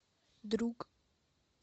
друг